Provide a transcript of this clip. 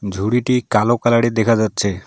ঝুরিটি কালো কালারের দেখা যাচ্ছে।